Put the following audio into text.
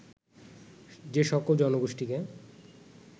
যে সকল জনগোষ্ঠীকে